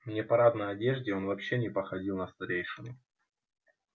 в непарадной одежде он вообще не походил на старейшину